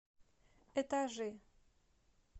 этажи